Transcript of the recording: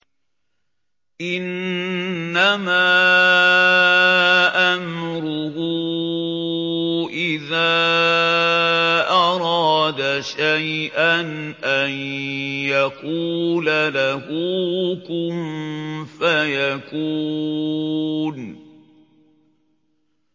إِنَّمَا أَمْرُهُ إِذَا أَرَادَ شَيْئًا أَن يَقُولَ لَهُ كُن فَيَكُونُ